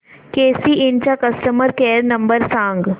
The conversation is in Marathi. केसी इंड चा कस्टमर केअर नंबर सांग